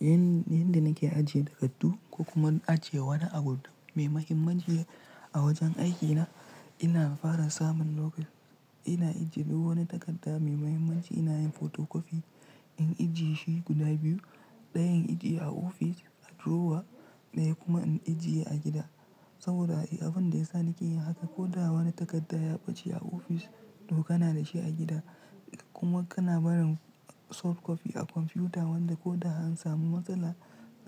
Yanda nake ajiye takardu ko kuma ajiye wani abu mai mahimmanci a wajen aikina, ina fara samun lo--. Ina ajiye duk wani takarda mai mahimmanci ina yin fotokofi in ajiye shi guda biyu. Ɗayan in ajiye a ofis a drawer ɗaya kuma in ajiye a gida. Saboda abin da ya sa nake yin haka ko da wani takarda ya ɓace a ofis to kana da shi a gida. Kuma kana barin soft copy a kwamfuta wanda ko da an samu matsala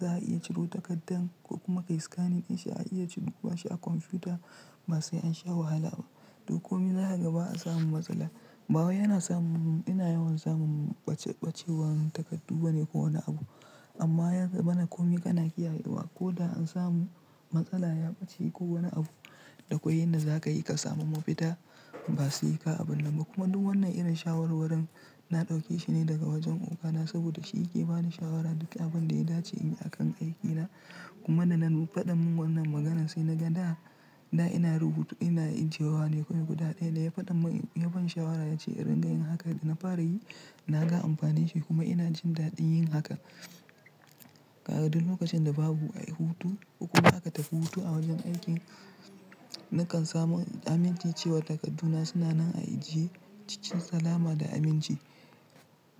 za a iya ciro takardar ko kuma ai scanning in shi a iya cire shi a kwamfuta ba sai sha wahala. Duk komai zan daga ba an samu matsala. Ba wai yana samu ina yawan samun ɓace ɓacewar takardu bane ko wani abu. Amma yaza mana komai kana kiyaye wa ko da an samu matsala ya ɓace ko wani abu, dakwai yanda za ka yi ka samu mafita ba su yi ka abin lamba. Kuma duk wannan irin shawarwarin na ɗauke shi ne daga wajen ogana saboda shi yake bani shawara duka abin da ya dace in yi a kan aikina. Kuma da ya fa ɗan mun wannan maganan sai na ga da, da ina rubutu ina ajiyewa ne kawai guda ɗaya da ya faɗa mun yaban shawara ya ce in rika yin haka da na fara yi na ga amfanin shi kuma ina jin daɗin yin haka. Kada duk lokacin da babu a yi hutu ko kuma aka tafi hutu a wajen aikin, nakan samu aminci cewa takarduna suna nan a ajie cikin salama da aminci.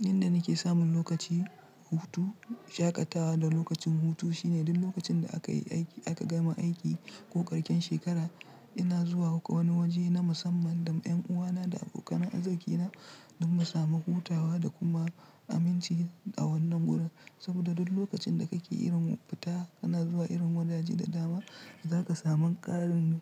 Yanda nake samun lokaci hutu, shaƙatawa da lokacin hutu shine duk lokacin da aka yi aiki aka gama aiki ko ƙarshen shekara ina zuwa akwai wani waje na musamman da ƴan uwana da abokanan arziki na don mu samu hutawa da kuma aminci a wannan wurin. Saboda duk lokacin da kake irin fita kana zuwa irin wajaje da dama, za ka samun ƙarin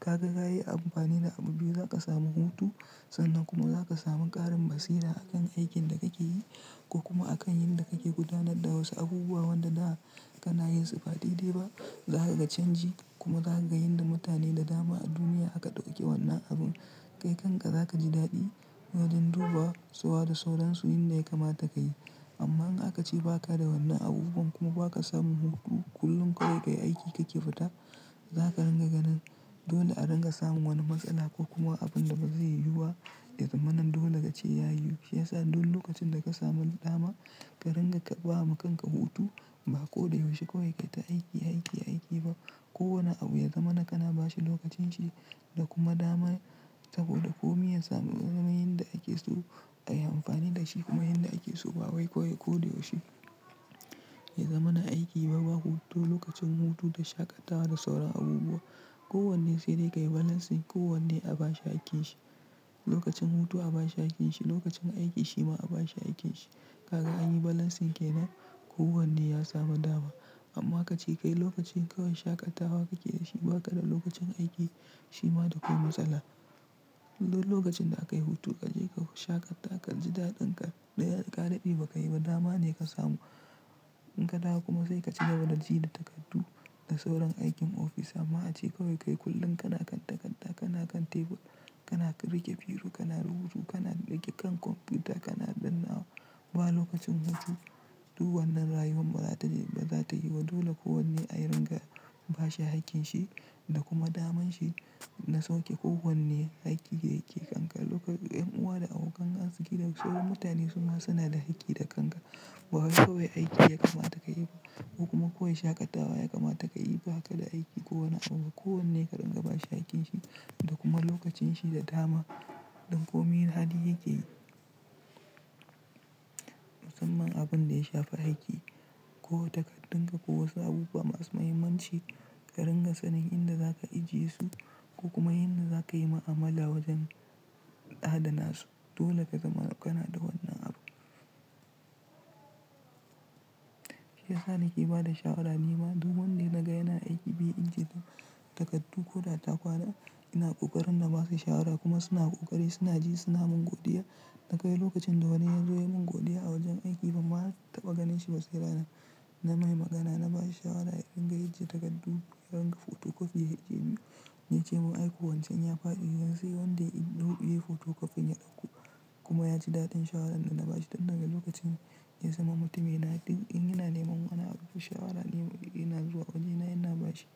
ka ga ka yi amfani da abu biyu za ka samu hutu sannan kuma za ka sami ƙarin basira a kan aikin da kake yi ko kuma a kan yanda kake gudanar da wasu abubuwan da na kana yinsa faɗi dai ba. Za ka ga canji kuma za ka ga yadda mutane da dama a duniya aka ɗauke wannan abun. Kai kanka za ka ji daɗi wajen duba zuwa da sauransu inda ya kamata ka yi. Amma in aka ce ba ka da wannan abubuwan kuma ba ka samu hutu kullum kawai ka yi aiki ka ke fita, za ka ringa ganin dole a ringa samun wani matsala ko kuma abin da ba zai yiwuba. Ya zaman dole ka ce ya yiwu. Shi ya sa duk lokacin da ka sami dama ka ranga ka ba wa kanka hutu ba ko da yaushe kawai ka yi ta aiki aiki aiki ba. Ko wani abu ya zama na kana ba shi lokacin shi da kuma dama saboda komi ya samu yadda ake so ayi amfani da shi kuma yadda ake so ba wai kawai ko da yaushe. Ya zama na aiki ba ba hutu lokacin hutu da shaƙatawa da sauran abubuwa. Ko wanne sai dai ka yi balancing ko wanne a ba shi hakkin shi. Lokacin hutu a ba shi hakkin shi, lokacin aiki shi ma a ba shi hakkin shi. Kaga an yi balancing kenan ko wanne ya samu dama. Amma aka ce kai lokacin kawai shaƙatawa kake da shi ba ka da lokacin aiki shi ma dakwai matsala. Duk lokacin da aka yi hutu ka je ka shaƙata ka ji daɗin ka, ɗaya ka daɗe ba ka yi ba dama ne ka samu. In ka dawo kuma sai ka ci gaba da jina takardu da sauran aikin ofis amma a ce kawai kai kullum kana kan takarda kana kan tebur kana riƙe biro kana rubutu kana riƙe kan kwamfuta kana ɗinawa. Ba lokacin hutu duk wannan rayuwan ba za ta yi ba. Dole ko wanne a ringa ba shi hakkin shi da kuma daman shi na sauke ko wanne aiki yake kanƙara. Ƴan uwa da abokan arziki da sauran mutane suna suna da hakki da kanka. Ba wai kawai aiki ya kamata ka yi ba kuma kawai shaƙatawa ya kamata ka yi ba. Ka da aiki ko wani abu ko wanne ka ringa ba shi hakkin shi da kuma lokacin shi da dama. Don komi yadda yake yi. Musamman abin da ya shafi aiki ko takardun ka ko wasu abubuwa masu muhimmanci ka ringa sanin inda za ka ajiye su ko kuma inda za ka yi ma'amala wajen adana su. Dole ka zama kana da wannan abu. Shi ya sa nake ba da shawara ni ma duk wanda naga yana aiki bai ajiye takardu ko da takwaɗa ina ƙoƙarin na ba shi shawara kuma suna ƙoƙari suna ji suna mun godiya. Da kai lokacin dole ya zo ya mun godiya a wajen aiki bamma taba ganin shi ba sai ranar na mai magana na ba shi shawara ya ringa ajiye takardu ya ringa fotokofiya yaje wancan yafi aiki yanzu wanda in ɗubi yi fotokofin ya ɗauko kuma yaci daɗin shawarar da na bashi. Tun daga lokacin ya zama mutum yana in yana neman wani abu da shawara nima ina zuwa wajena yana bashi.